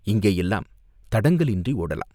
இங்கேயெல்லாம் தடங்கலின்றி ஓடலாம்.